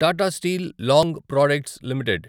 Tata steel long products limited